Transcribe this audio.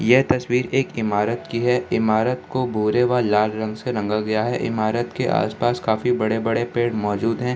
यह तस्वीर एक इमारत की है इमारत को भूरे व लाल रंग से रंगा गया है इमारत के आसपास काफी बड़े-बड़े पेड़ मौजूद है।